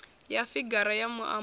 ya figara ya muambo yo